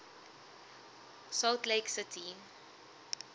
salt lake city